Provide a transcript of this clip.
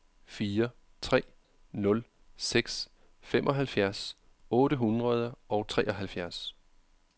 fire tre nul seks femoghalvfjerds otte hundrede og treoghalvfjerds